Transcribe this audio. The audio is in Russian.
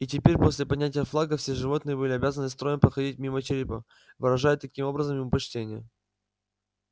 и теперь после поднятия флага все животные были обязаны строем проходить мимо черепа выражая таким образом ему почтение